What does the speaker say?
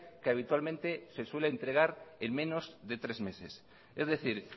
que habitualmente se suele entregar en menos de tres meses es decir